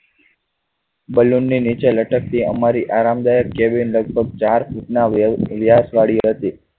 બલૂ ને નીચે લટકી અમારી આરામ દાયક cabin લગભગ ચાર ફુટ ના વ્યાસ વાડી હતી.